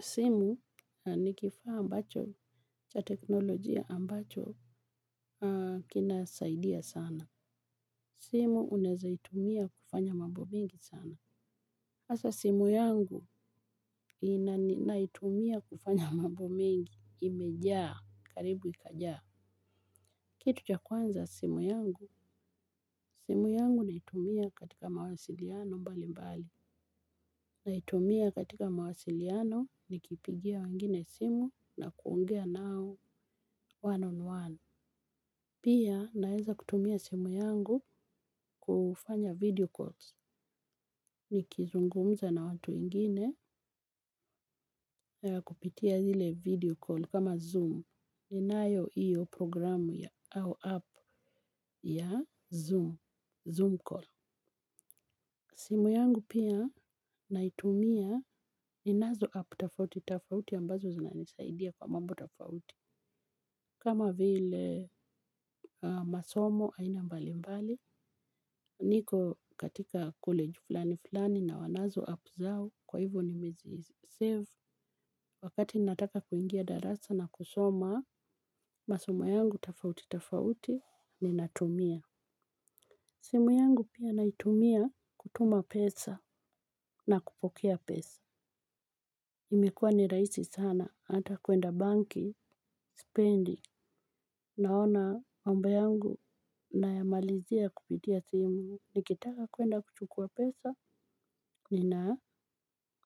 Simu nikifaa ambacho cha teknolojia ambacho kinasaidia sana. Simu unaezaitumia kufanya mambo mingi sana. Sasa simu yangu naitumia kufanya mambo mengi, imejaa. Karibu ikajaa. Kitu cha kwanza simu yangu. Simu yangu naitumia katika mawasiliano mbali mbali. Naitumia katika mawasiliano ni kipigia wengine simu na kuongea nao one on one. Pia naeza kutumia simu yangu kufanya video calls. Ni kizungumza na watu wengine na kupitia zile video call kama zoom. Ninayo iyo progiramu ya au apu ya zoom. Zoom call. Simu yangu pia naitumia ni nazo apu tafauti tafauti ambazo zinanisaidia kwa mambo tafauti. Kama vile masomo aina mbali mbali. Niko katika kolegi fulani fulani na wanazo apu zao kwa hivo ni mezisevu. Wakati nataka kuingia darasa na kusoma masomo yangu tafauti tafauti ni natumia. Simu yangu pia naitumia kutuma pesa na kupokea pesa. Imekuwa ni rahisi sana ata kwenda banki sipendi. Naona mambo yangu nayamalizia kupitia simu. Nikitaka kwenda kuchukuwa pesa nina,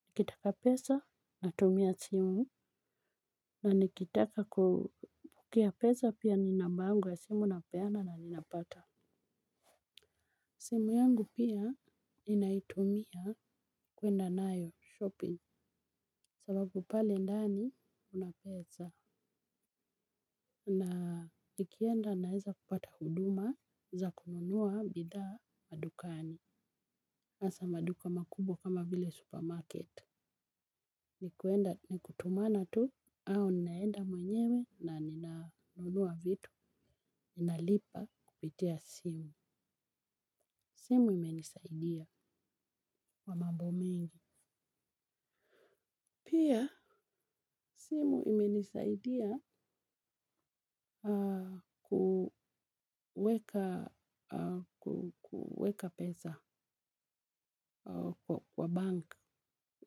nikitaka pesa natumia simu. Na nikitaka kupokea pesa pia ni namba yangu simu napeana na ninapata. Simu yangu pia ninaitumia kwenda nayo shopping. Sababu pale ndani kuna pesa. Na nikienda naeza kupata huduma za kununuwa bidhaa madukani. Hasa maduka makubwa kama vile supermarket. Nikutumana tu, au ninaenda mwenyewe na ninanuwa vitu. Ninalipa kupitia simu. Simu imenisaidia kwa mambo mengi. Pia simu imenisaidia kuweka pesa kwa bank.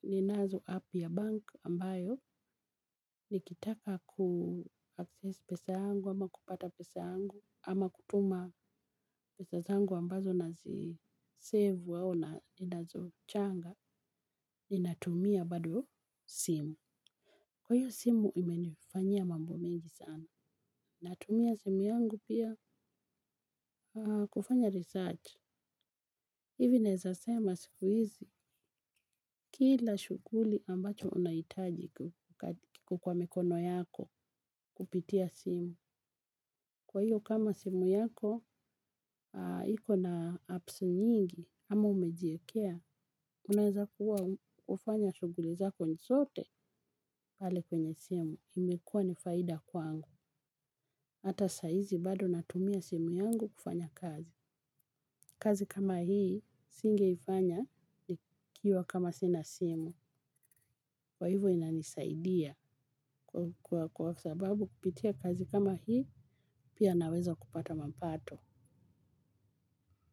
Ninazo apu ya bank ambayo nikitaka kuaccess pesa yangu ama kupata pesa yangu ama kutuma pesa zangu ambazo nazi sevu au na, ninazo changa. Ninatumia bado simu. Kwa hiyo simu imenifanyia mambo mengi sana. Natumia simu yangu pia kufanya research. Hivi naeza sema siku hizi kila shughuli ambacho unahitaji ku, kiko kwa mikono yako kupitia simu. Kwa hiyo kama simu yako iko na apusi nyingi ama umejiekea, unaeza kuwa hufanya shughuli zako zote pale kwenye simu imekua ni faida kwangu. Hata saa hizi bado natumia simu yangu kufanya kazi. Kazi kama hii, singe ifanya, ikiwa kama sina simu, kwa ivo inanisaidia kwa sababu kupitia kazi kama hii, pia naweza kupata mapato.